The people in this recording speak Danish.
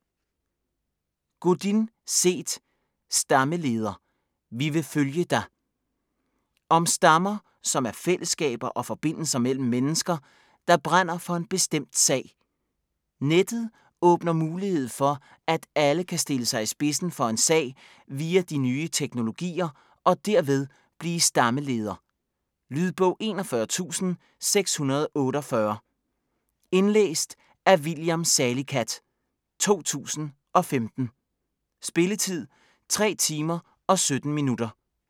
Godin, Seth: Stammeleder: vi vil følge dig Om stammer, som er fællesskaber og forbindelser mellem mennesker, der brænder for en bestemt sag. Nettet åbner mulighed for, at alle kan stille sig i spidsen for en sag via de nye teknologier og derved blive "stammeleder". Lydbog 41648 Indlæst af William Salicath, 2015. Spilletid: 3 timer, 17 minutter.